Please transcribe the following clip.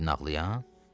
Sən idin ağlayan?